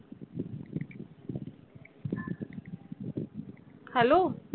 hello